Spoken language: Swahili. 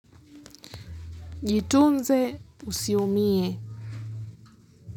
Jitunze usiumie.